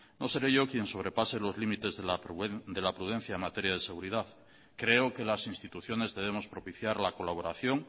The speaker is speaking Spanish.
no seré yo quien sobrepase los límites de la prudencia en materia de seguridad creo que las instituciones debemos propiciar la colaboración